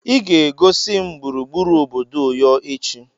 Ị ga-egosi m gburugburu obodo Uyo echi.